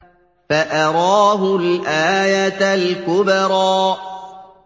فَأَرَاهُ الْآيَةَ الْكُبْرَىٰ